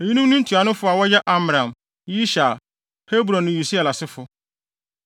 Eyinom ne ntuanofo a wɔyɛ Amram, Yishar, Hebron ne Usiel asefo.